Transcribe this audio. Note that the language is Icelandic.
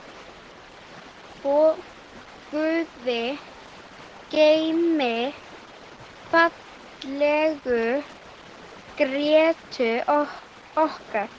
Guði geymi fallegu Grétu okkar.